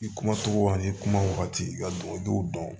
I kuma togo an ye kuma wagati i ka du dɔn